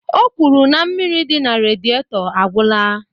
O kwuru na mmiri dị na redietọ agwụla